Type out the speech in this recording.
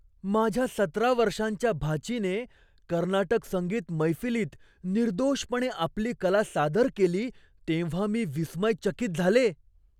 माझ्या सतरा वर्षांच्या भाचीने कर्नाटक संगीत मैफिलीत निर्दोषपणे आपली कला सादर केली तेव्हा मी विस्मयचकित झाले.